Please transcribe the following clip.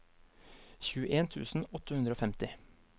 tjueen tusen åtte hundre og femti